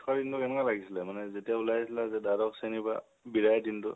শেষৰ দিনটো কেনেকুৱা লাগিছিল মানে যেতিয়া ঊলাই আহিছিলা দ্বাদশ শ্ৰণীৰ পৰা, বিদাই দিনতো?